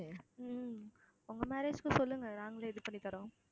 உம் உங்க marriage க்கு சொல்லுங்க நாங்களே இது பண்ணி தர்றோம்